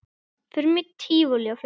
Förum í tívolí og fleira.